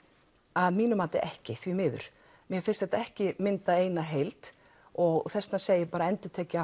að mínu mati ekki því miður mér finnst þetta ekki mynda eina heild og þess vegna segi ég endurtekið